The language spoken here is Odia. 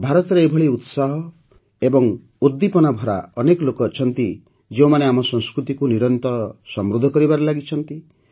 ଭାରତରେ ଏଭଳି ଉତ୍ସାହ ଏବଂ ଉଦ୍ଦୀପନା ଭରା ଅନେକ ଲୋକ ଅଛନ୍ତି ଯେଉଁମାନେ ଆମ ସଂସ୍କୃତିକୁ ନିରନ୍ତର ସମୃଦ୍ଧ କରିବାରେ ଲାଗିଛନ୍ତି